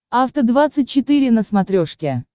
афта двадцать четыре на смотрешке